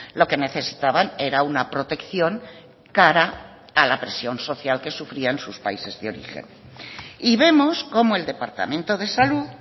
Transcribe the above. lo que necesitaban era una protección cara a la presión social que sufrían sus países de origen y vemos como el departamento de salud